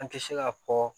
An tɛ se ka fɔ